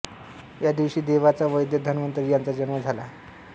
या दिवशी देवांचा वैद्य धन्वंतरी याचा जन्म झाला